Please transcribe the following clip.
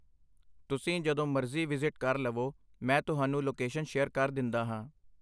ਤੁਸੀਂ ਜਦੋਂ ਮਰਜ਼ੀ ਵਿਜ਼ਿਟ ਕਰ ਲਵੋ, ਮੈਂ ਤੁਹਾਨੂੰ ਲੋਕੇਸ਼ਨ ਸ਼ੇਅਰ ਕਰ ਦਿੰਦਾ ਹਾਂ।